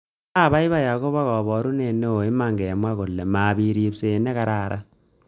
Nga abaibai akobo kaborunet neo iman kemwa kole mapit ripset ne kararan